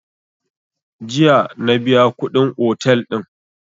Jiya na biya kuɗin otel din